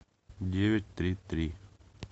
девять три три